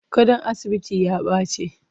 Gadon asibitin ya baci.